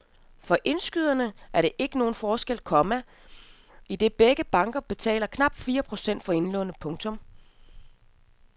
For indskyderne er der ikke nogen forskel, komma idet begge banker betaler knap fire procent for indlånene. punktum